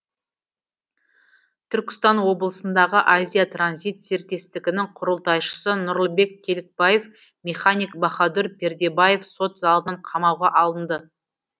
түркістан облысындағы азия транзит серіктестігінің құрылтайшысы нұрлыбек телікбаев механик бахадүр пердебаев сот залынан қамауға алынды